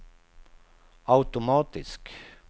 automatisk